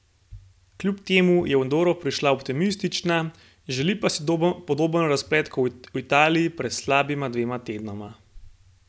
Kljub temu je v Andoro prišla optimistična, želi pa si podoben razplet kot v Italiji pred slabima dvema tednoma.